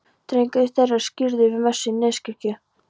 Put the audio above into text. Drengurinn þeirra er skírður við messu í Neskirkju.